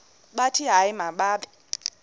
bathi hayi mababe